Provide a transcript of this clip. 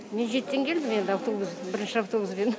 мен жетіден келдім енді автобус бірінші автобуспен